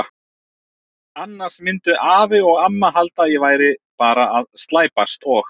Annars myndu afi og amma halda að ég væri bara að slæpast og.